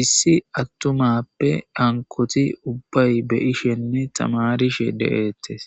issi attumappe dankoti ubbay be ishenne tamarishe de7ettes